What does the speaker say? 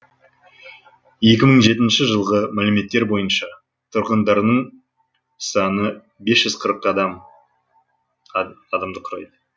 екі мың жетінші жылғы мәліметтер бойынша тұрғындарының саны бес жүз қырық адамды құрайды